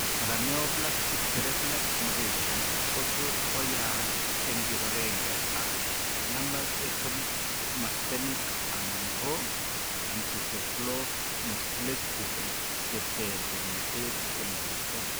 Paraneoplastic cerebellar degeneration kotot koyaag en kipagenge ak lambert Eaton myasthenic ana ko encephalomyelitis chetare kimnatet en borto